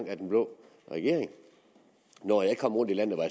af den blå regering når jeg kom rundt i landet var